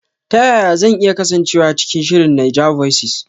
Ta yaya zan iya kasancewa cikin shirin NAIJAVOICES?